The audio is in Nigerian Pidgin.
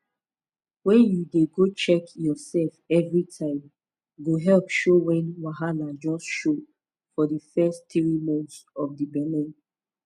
wen u dey go check your sef evri time go help show wen wahala just show for di fess tiri months of di belle